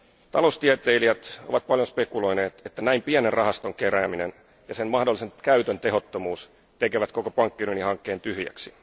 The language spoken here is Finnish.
Taloustieteilijät ovat paljon spekuloineet, että näin pienen rahaston kerääminen ja sen mahdollisen käytön tehottomuus tekevät koko pankkiunionihankkeen tyhjäksi.